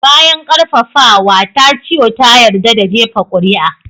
Bayan ƙarfafawa, Tachio ta yarda da jefa kuri'a.